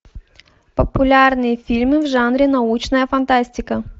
популярные фильмы в жанре научная фантастика